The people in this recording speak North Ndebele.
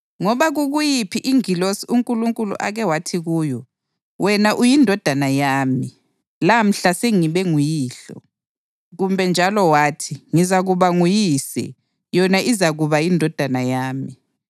Ngoba kukuyiphi ingilosi uNkulunkulu ake wathi kuyo: “Wena uyiNdodana yami; lamhla sengibe nguYihlo” + 1.5 AmaHubo 2.7? Kumbe njalo wathi, “Ngizakuba nguYise, yona izakuba yiNdodana yami” + 1.5 2 USamuyeli 7.14; 1 ImiLando 17.13?